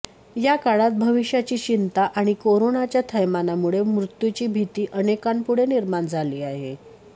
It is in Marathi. या काळात भविष्याची चिंता आणि करोनाच्या थैमानामुळे मृत्यूची भीती अनेकांपुढे निर्माण झाली आहे